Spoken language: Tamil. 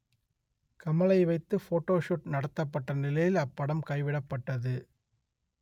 கமலை வைத்து போட்டோஷுட் நடத்தப்பட்ட நிலையில் அப்படம் கைவிடப்பட்டது